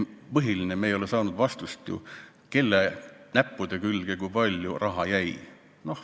Põhiline on, et me ei ole saanud ju vastust, kelle näppude külge kui palju raha jäi.